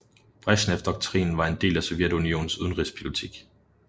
Bresjnevdoktrinen var en del af Sovjetunionens udenrigspolitik